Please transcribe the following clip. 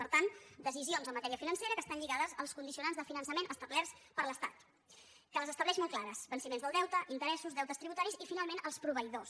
per tant decisions en matèria financera que estan lligades als condicio·nants de finançament establerts per l’estat que les es·tableix molt clares venciments del deute interessos deutes tributaris i finalment els proveïdors